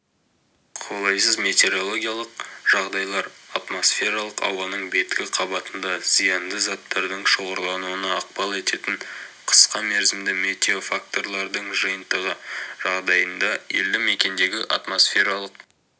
қолайсыз метеорологиялық жағдайлар атмосфералық ауаның беткі қабатында зиянды заттардың шоғырлануына ықпал ететін қысқамерзімді метеофакторлардың жиынтығы жағдайында елді мекендердегі атмосфералық